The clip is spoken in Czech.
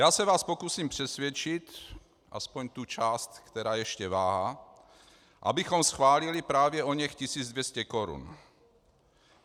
Já se vás pokusím přesvědčit, aspoň tu část, která ještě váhá, abychom schválili právě oněch 1 200 korun.